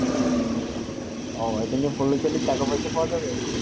ওহ ভাই তালে পড়লে যেই টাকা পয়সা পৰা যাবে